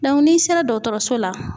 n'i sera dɔgɔtɔrɔso la